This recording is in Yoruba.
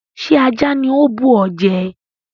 Ṣé ajá ni ó bù ọ jẹ?